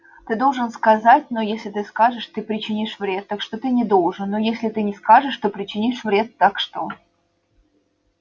ты должен сказать но если ты скажешь ты причинишь вред так что ты не должен но если ты не скажешь ты причинишь вред так что